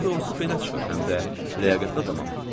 Daha doğrusu belə çıxır həm də ləyaqətli adamam.